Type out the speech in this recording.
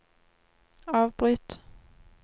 avbryt